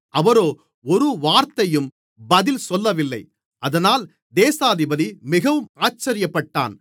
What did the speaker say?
அவரோ ஒரு வார்த்தையும் பதில் சொல்லவில்லை அதனால் தேசாதிபதி மிகவும் ஆச்சரியப்பட்டான்